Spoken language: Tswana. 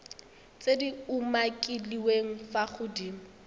tse di umakiliweng fa godimo